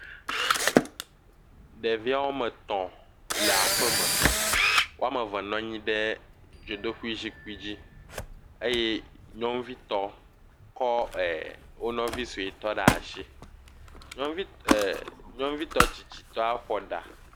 Ɖevia wome tɔ̃ le aƒeme. Woame ve nɔ anyi ɖe dzodoƒezikpi dzi. Eye nyɔnuvitɔ kɔ ɛɛ wo nɔvi suetɔ ɖaa shi. Nyɔnuvi ɛɛ, nyɔnuvi tsitsitɔ eƒo ɖa.